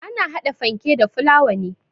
Ana hada fanke da fulawa ne.